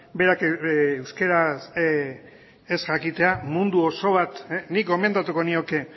berak euskeraz ez jakitea mundu oso bat nik gomendatuko nioke